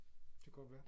Det kan godt være